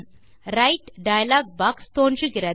write dialog box தோன்றுகிறது